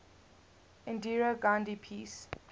indira gandhi peace